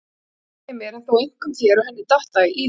En svo gleymdi ég mér en þó einkum þér og henni og datt í það.